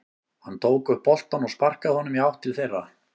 Hann tók upp boltann og sparkaði honum í átt til þeirra.